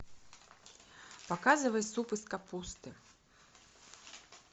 показывай суп из капусты